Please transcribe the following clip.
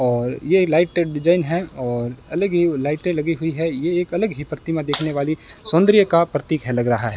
और ये light design है और अलग ही लाइटें लगी हुई हैं ये एक अलग ही प्रतिमा देखने वाली सौंदर्य का प्रतीक है लग रहा है।